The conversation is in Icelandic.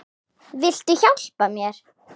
Viltu hjálpa mér?